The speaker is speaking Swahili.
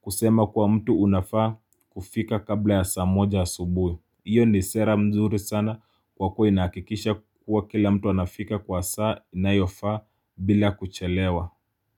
kusema kwa mtu unafaa kufika kabla ya saa moja ya asubuhi iyo ni sera mzuri sana kwa kuwa inahakikisha kuwa kila mtu anafika kwa saa inayofaa bila kuchelewa.